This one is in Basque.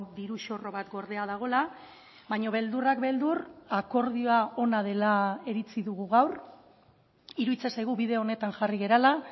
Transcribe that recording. diru zorro bat gordea dagoela baina beldurrak beldur akordioa ona dela iritzi dugu gaur iruditzen zaigu bide honetan jarri garela